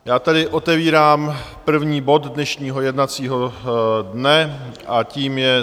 Já tedy otevírám první bod dnešního jednacího dne a tím je